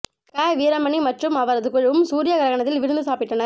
க வீரமணி மற்றும் அவரது குழுவும் சூரிய கிரஹணத்தில் விருந்து சாப்பிட்டனர்